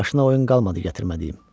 Başına oyun qalmadı gətirmədiyim.